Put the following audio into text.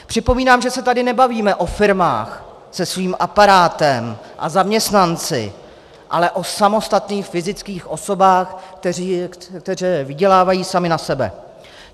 Připomínám, že se tady nebavíme o firmách se svým aparátem a zaměstnanci, ale o samostatných fyzických osobách, které vydělávají samy na sebe.